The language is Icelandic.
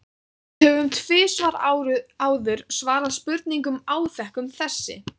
Við höfum tvisvar áður svarað spurningum áþekkum þessari.